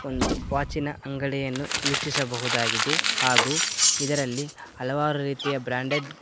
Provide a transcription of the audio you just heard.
ಒಂದು ವಾಚಿ ನ ಅಂಗಡಿಯನ್ನು ವೀಕ್ಷಿಸಬಹುದಾಗಿದೆ ಹಾಗು ಇದರಲ್ಲಿ ಹಲವಾರು ರೀತಿಯ ಬ್ರಾಂಡೆಡ್ --